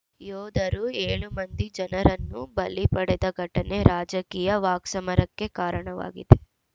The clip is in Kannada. ಯೋಧರು ಏಳು ಮಂದಿ ಜನರನ್ನು ಬಲಿ ಪಡೆದ ಘಟನೆ ರಾಜಕೀಯ ವಾಕ್ಸಮರಕ್ಕೆ ಕಾರಣವಾಗಿದೆ